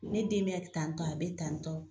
Ne den be tantɔ a be tantɔ.